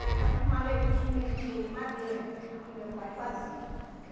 Era aquelas maletinha de madeira que meu pai fazia.